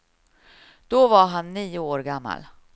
Då var han nio år gammal.